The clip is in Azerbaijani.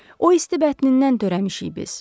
O isti bətnindən törəmişik biz.